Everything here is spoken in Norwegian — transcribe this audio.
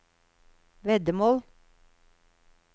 veddemål